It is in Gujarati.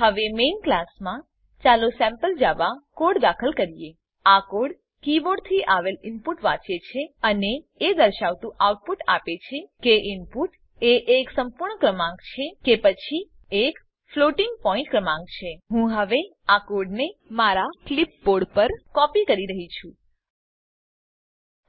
હવે મેઈન ક્લાસમાં ચાલો સેમ્પલ જાવા કોડ દાખલ કરીએ આ કોડ કીબોર્ડથી આવેલ ઈનપુટને વાંચે છે અને એ દર્શાવતું આઉટપુટ આપે છે કે ઈનપુટ એ એક સંપૂર્ણ ક્રમાંક છે કે પછી એક ફ્લોટિંગ પોઈન્ટ ક્રમાંક છે હું હવે આ કોડને મારા ક્લીપબોર્ડ પર કોપી કરી રહ્યી છું